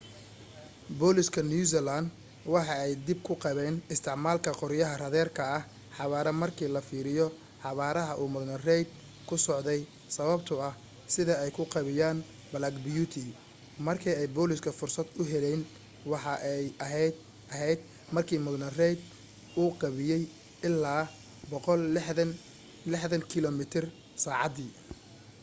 booliska new zealand waxa ay dhib ku qabeyn isticmaalka qoryaha raaderka xawaare marka la fiiriyo xawaaraha uu mudane reid ku socday sababto ah sida ay u gaabiyan black beauty marka ay booliska fursad uheleyn waxa ay aheyd marka mudane reid uu gaabiye ilaa 160km/sacadi